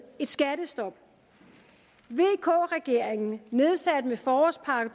et skattestop vk regeringen nedsatte med forårspakke